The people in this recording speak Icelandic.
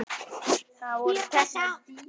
Það voru teknar dýfur.